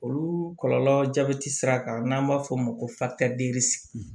Olu kɔlɔlɔ jabɛti sira kan n'an b'a fɔ o ma ko